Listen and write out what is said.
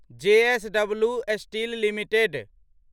JSW steel limited